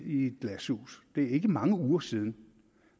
i et glashus det er ikke mange uger siden